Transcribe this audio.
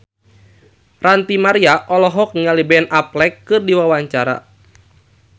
Ranty Maria olohok ningali Ben Affleck keur diwawancara